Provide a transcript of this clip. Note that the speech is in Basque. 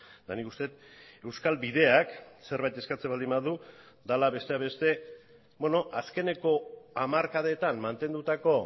eta nik uste dut euskal bideak zerbait eskatzen baldin badu dela besteak beste azkeneko hamarkadetan mantendutako